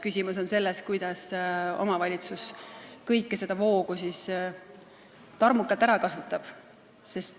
Küsimus on selles, kuidas omavalitsus kogu seda voogu tarmukalt ära kasutab.